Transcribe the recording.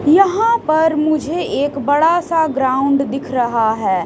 यहां पर मुझे एक बड़ा सा ग्राउंड दिख रहा हैं।